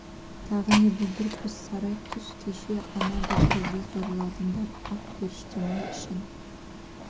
тағы не бүлдіріппіз сайрай түс кеше ана бір қызды зорладыңдар ақ періштем-ай ішін